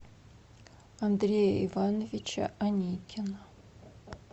андрея ивановича аникина